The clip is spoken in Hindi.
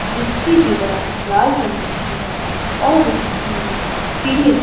जिसकी दीवार लाल रंग की है और उसकी सीलिंग --